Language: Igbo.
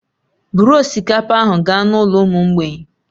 Buru osikapa ahụ gaa n'ụlọ ụmụ mgbei